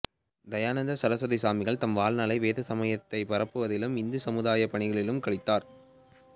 தயானந்த சரஸ்வதி சுவாமிகள் தம் வாழ்நாளை வேத சமயத்தைப் பரப்புவதிலும் இந்து சமய சமுதாயப் பணிகளிலும் கழித்தார்